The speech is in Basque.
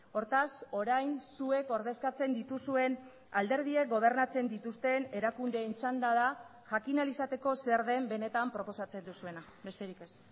hortaz orain zuek ordezkatzen dituzuen alderdiek gobernatzen dituzten erakundeen txanda da jakin ahal izateko zer den benetan proposatzen duzuena besterik ez